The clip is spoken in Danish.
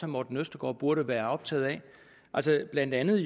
morten østergaard burde være optaget af blandt andet